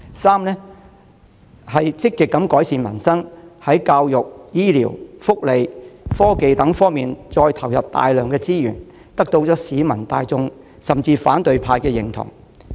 三、積極改善民生，在教育、醫療、福利、科技等方面投入大量資源，得到市民大眾，甚至反對派的認同。